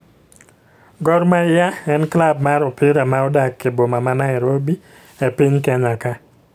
Gor mahia en klub mar opira ma odak e boma ma Nairobi e piny Kenya ka